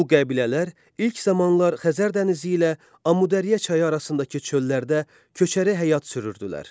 Bu qəbilələr ilk zamanlar Xəzər dənizi ilə Amudəriyə çayı arasındakı çöllərdə köçəri həyat sürürdülər.